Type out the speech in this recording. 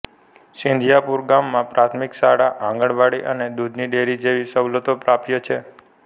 સિંધિયાપુરા ગામમાં પ્રાથમિક શાળા આંગણવાડી અને દૂધની ડેરી જેવી સવલતો પ્રાપ્ય છે